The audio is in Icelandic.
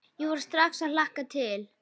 Ég fór strax að hlakka til.